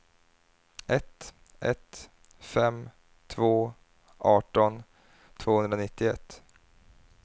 ett ett fem två arton tvåhundranittioett